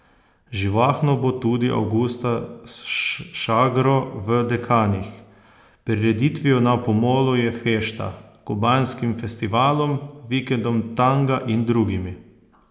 Živahno bo tudi avgusta s šagro v Dekanih, prireditvijo Na pomolu je fešta, kubanskim festivalom, vikendom tanga in drugimi.